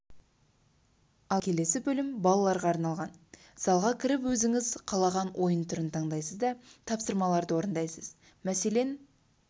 ал келесі бөлім балаларға арналған залға кіріп өзіңіз қалаған ойын түрін таңдайсыз да тапсырмаларды орындайсыз мәселен